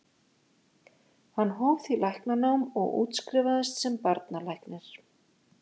Hann hóf því læknanám og útskrifaðist sem barnalæknir.